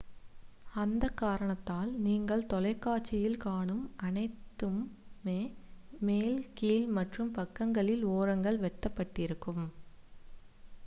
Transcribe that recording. அந்த காரணத்தால் நீங்கள் தொலைக்காட்சியில் காணும் அனைத்துமே மேல் கீழ் மற்றும் பக்கங்களில் ஓரங்கள் வெட்டப்பட்டிருக்கும்